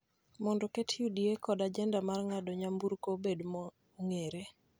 mondo oket UDA kod ajenda mar ng�ado nyamburko obed ma ong�ere,